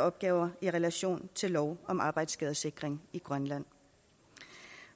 opgaver i relation til lov om arbejdsskadesikring i grønland